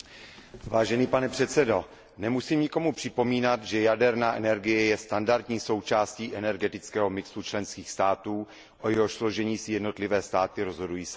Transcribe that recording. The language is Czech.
Vážený pane předsedající, nemusím nikomu připomínat, že jaderná energie je standardní součástí energetického mixu členských států, o jehož složení si jednotlivé státy rozhodují samy.